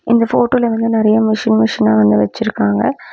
இந்த ஃபோட்டோல என்னமோ நெறய மிஷின் மிஷினா வந்து வச்சிருக்காங்க.